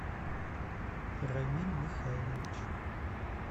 рамиль михайлович